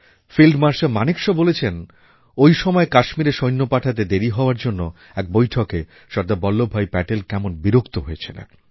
field marshal Manekshaw বলেছেন ঐ সময় কাশ্মীরে সৈন্য পাঠাতে দেরী হওয়ার জন্য এক বৈঠকে সর্দার বল্লভভাই প্যাটেল কেমন বিরক্ত হয়েছিলেন